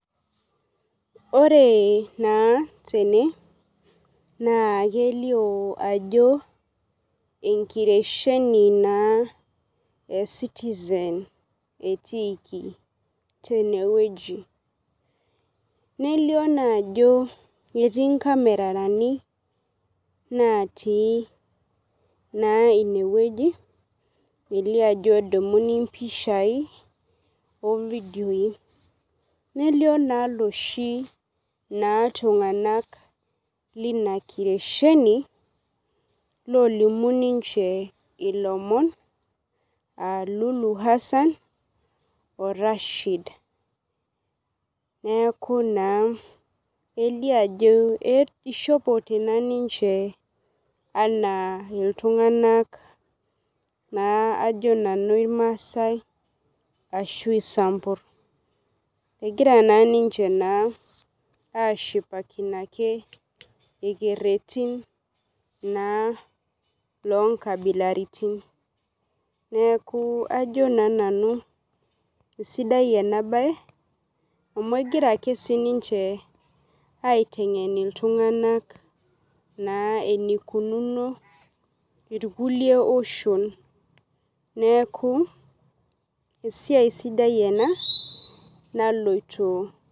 Ore naa tene na kelio ajo ee nkiresheni naa ee Citizen etikii teneweji. Nelio naa ajo eti nkamerani naati naa ineweji, elio na ajo edumuni naa impishai oo video ii . Nelio naa loshi naa tung'anak naa lina kiresheni lolimu ninche ilomon aa Lulu Hassan oo Rashid. Neeku naa elio ajo ishopote naa ninche anaa iltung'ana naa ajo nanu irmasae arashu isambur. Egira naa ninche naa ashipakino ake irkeretin naa loo nkabilaritin. Neeku ajo naa nanu isidai ena bae amu egira ake sii ninche aiteng'en aiteng'en iltung'ana eneikununi irkulie oshon neeku esiai sidai enaa naloito.